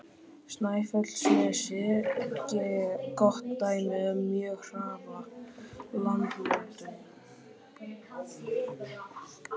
Snæfellsnesi gott dæmi um mjög hraða landmótun.